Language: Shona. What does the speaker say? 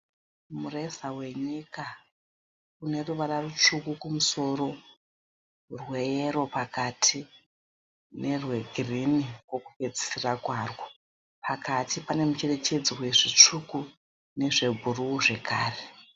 Mureza wenyika une ruvara rutsvuku kumusoro rweyero pakati nerwegirinhi kwekupedzisira kwarwo. Pakati pane mucherechedzo wezvitsvuku nezvebhuruu zvakare.